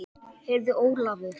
Heyrðu Ólafur.